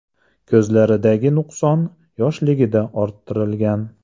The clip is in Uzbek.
– Ko‘zlaridagi nuqson yoshligida orttirilgan.